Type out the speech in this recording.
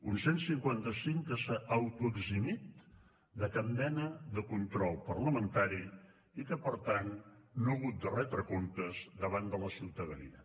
un cent i cinquanta cinc que s’ha autoeximit de cap mena de control parlamentari i que per tant no ha hagut de retre comptes davant de la ciutadania